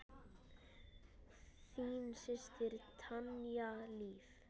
Þín systir, Tanya Líf.